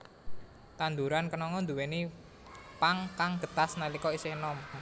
Tanduran kenanga nduwèni pang kang getas nalika isih enom